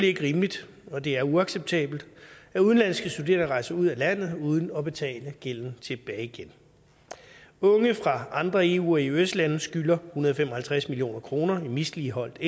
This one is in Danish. ikke rimeligt og det er uacceptabelt at udenlandske studerende rejser ud af landet uden at betale gælden tilbage igen unge fra andre eu eøs lande skylder hundrede og fem og halvtreds million kroner i misligholdt